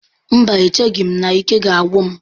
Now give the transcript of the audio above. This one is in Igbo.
Mba, echeghị m na ike ga-agwụ m